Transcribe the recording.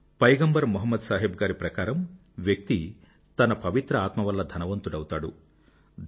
పైగంబర్ మొహమ్మద్ సాహెబ్ గారి ప్రకారం వ్యక్తి తన పవిత్ర ఆత్మ వల్ల ధనవంతుడౌతాడు